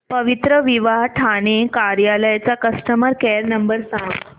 पवित्रविवाह ठाणे कार्यालय चा customer care number सांग